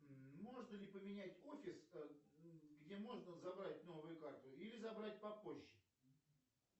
можно ли поменять офис где можно забрать новую карту или забрать попозже